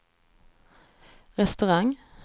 restaurang